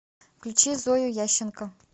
включи зою ященко